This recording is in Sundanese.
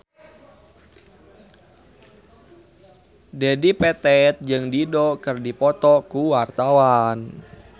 Dedi Petet jeung Dido keur dipoto ku wartawan